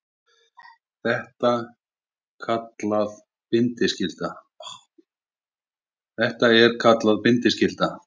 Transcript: Þetta er kallað bindiskylda.